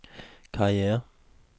karriere